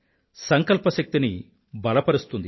సంకల్ప శక్తిని బలపరుస్తుంది